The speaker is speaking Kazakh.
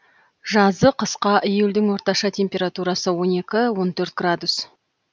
жазы қысқа июльдің орташа температурасы он екі он төрт градус